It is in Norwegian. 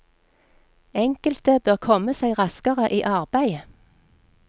Enkelte bør komme seg raskere i arbeid.